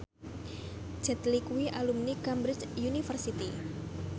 Jet Li kuwi alumni Cambridge University